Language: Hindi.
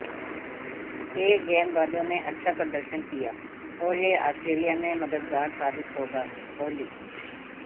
तेज गेंदबाजों ने अच्छा प्रदर्शन किया और यह ऑस्ट्रेलिया में मददगार साबित होगाः कोहली